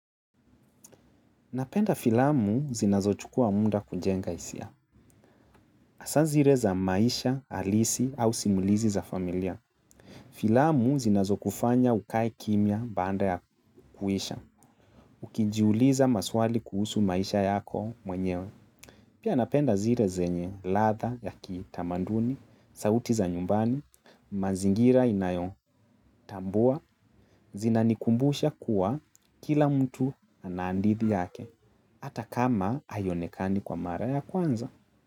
Napenda filamu zinazochukua munda kujenga isia. Asa zire za maisha, alisi au simulizi za familia. Filamu zinazo kufanya ukae kimya baanda ya kuisha. Ukijiuliza maswali kuhusu maisha yako mwenyewe. Pia napenda zire zenye ladha ya kitamanduni, sauti za nyumbani, mazingira inayotambua, zinanikumbusha kuwa kila mtu anaandithi yake, ata kama aionekani kwa mara ya kwanza.